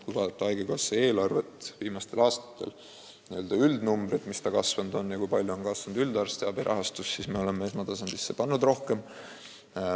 Kui vaadata haigekassa eelarvet viimastel aastatel, n-ö üldnumbreid, kui palju see kasvanud on ja kui palju on kasvanud üldarstiabi rahastus, siis näeme, et me oleme esmatasandisse pannud rohkem.